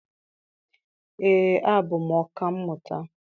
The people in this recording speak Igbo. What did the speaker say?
Ee, abụ m ọka mmụta.